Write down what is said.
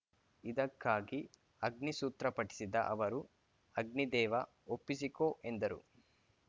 ಇದಕ್ಕಾಗಿ ಅಗ್ನಿ ಸೂತ್ರ ಪಠಿಸಿದ ಅವರು ಅಗ್ನಿ ದೇವ ಒಪ್ಪಿಸಿಕೋ ಎಂದರು